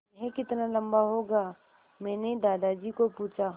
यह कितना लम्बा होगा मैने दादाजी को पूछा